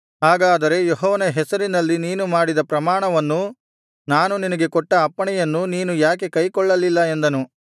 ಹಾಗಾದರೆ ಯೆಹೋವನ ಹೆಸರಿನಲ್ಲಿ ನೀನು ಮಾಡಿದ ಪ್ರಮಾಣವನ್ನೂ ನಾನು ನಿನಗೆ ಕೊಟ್ಟ ಅಪ್ಪಣೆಯನ್ನೂ ನೀನು ಯಾಕೆ ಕೈಕೊಳ್ಳಲಿಲ್ಲ ಎಂದನು